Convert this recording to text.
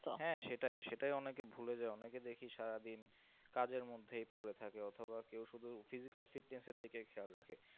হ্যাঁ, সেটাই। সেটাই অনেকে ভুলে যায়। অনেকে দেখি সারাদিন কাজের মধ্যেই পড়ে থাকে অথবা কেউ শুধু physical fitness এর দিকে খেয়াল রাখে।